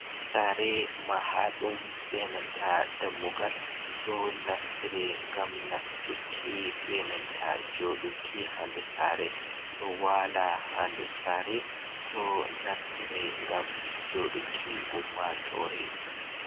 Sare Mahaɗum be nanta Dammugal ɗo naftire ngam Nastuki be nanta Joɗuki.ha nder Sare ɗo wala hande Sare ɗo naftire ngam joɗuki Ummatore.